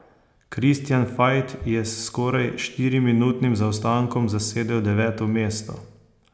Kristjan Fajt je s skoraj štiriminutnim zaostankom zasedel deveto mesto.